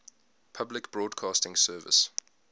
public broadcasting service